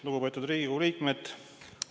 Lugupeetud Riigikogu liikmed!